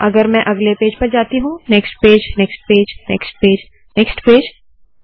अगर मैं अगले पेज पर जाती हूँ next page next page next page next page